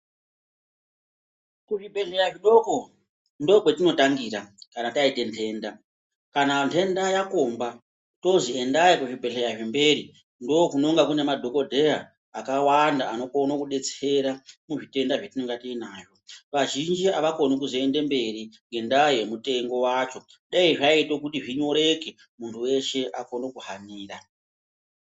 Kuzvibhehleya zvidoko ndokwetinotangira kana taite nhenda kana nhenda yakomba tozi endai kuzvibhehleya zvemberi, ndokunonga kune madhokodheya akawanda anokone kudetsera kuzvitenda zvatinenge tinazvo vazhinji avakoni kuzoende mberi ngendaa yemutengo wacho dai zvaiite kuti zvinyoreke munhu wese aikone kuhanira.